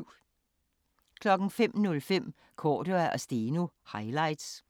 05:05: Cordua & Steno – highlights